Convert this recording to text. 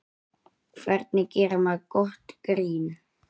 Hvernig gerir maður gott grín?